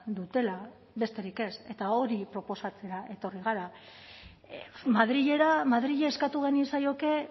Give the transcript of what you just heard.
dutela besterik ez eta hori proposatzera etorri gara madrilera madrili eskatu genizaioke